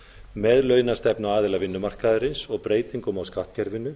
með launastefnu aðila vinnumarkaðarins og breytingum á skattkerfinu